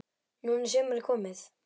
Núna er sumarið komið.